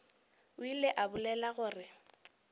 o ile a bolela gore